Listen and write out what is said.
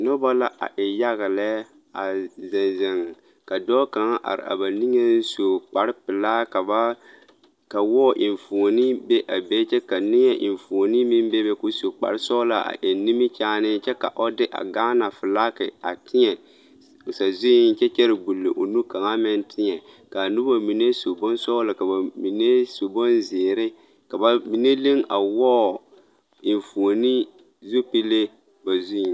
Noba la a e yaga. lɛɛ a zeŋ zeŋ ka dɔɔ kaŋ zeŋ a ba niŋɛ su kparre pɛlaa ka wɔɔ enfuoni be a be kyɛ ka neɛ enfuoni meŋ be be kɔɔ su kpare sɔglaa a eŋe nimie kyaane kyɛ ka o de a Gaana flag a teɛ sazuŋ kyɛ. gbol o nu kaŋ meŋ teɛ kaa noba mine su bonsɔglɔ ka ba mine su bon zeɛre ka ba mine leŋ a wɔɔ enfuoni zupile ba zuŋ.